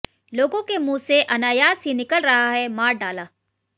लोगों के मुंह से अनायास ही निकल रहा है मार डाला